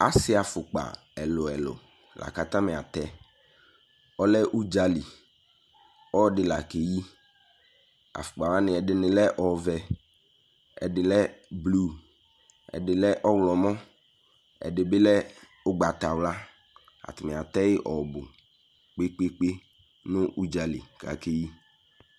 Ase afokpa ɛluɛlu ko atame atɛƆlɛ udzali, ɔde la ke yi Afokpa wane ɛdene lɛ ɔvɛ, ɛde lɛ blu, ɛde lɛ ɔwlɔmɔ, ɛde be lɛ ugbatawla, Atame atɛ ye ɔbu kpekpekpe no udzali ko ake yi